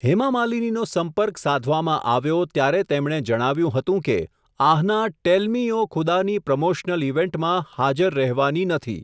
હેમા માલિનીનો સંપર્ક સાધવામાં આવ્યો, ત્યારે તેમણે જણાવ્યું હતું કે, Ahana Tell Me O Khuda ની પ્રમોશનલ ઈવેન્ટમાં, હાજર રહેવાની નથી.